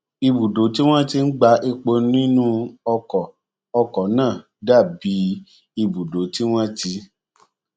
ibùdó tí wón ti ń gba epo nínú ọkò ọkò náà dà bí ibùdó tí wón ti